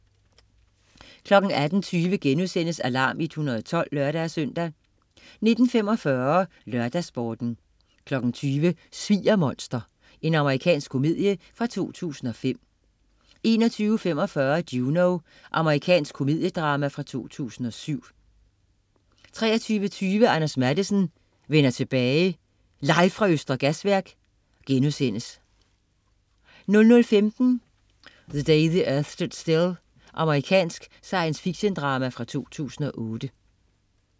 18.20 Alarm 112* (lør-søn) 19.45 LørdagsSporten 20.00 Sviger-monster. Amerikansk komedie fra 2005 21.45 Juno. Amerikansk komediedrama fra 2007 23.20 Anders Matthesen: Vender tilbage. Live fra Østre Gasværk* 00.15 The Day the Earth Stood Still. Amerikansk science fiction-drama fra 2008